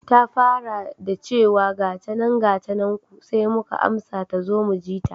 Ta fara da chewa, gatanan gatanan ku sai muka amsa tazo mujita.